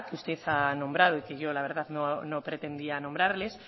usted ha nombrado y que yo la verdad no pretendía nombrarles